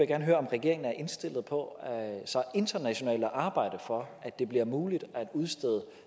gerne høre om regeringen er indstillet på så internationalt at arbejde for at det bliver muligt at udstede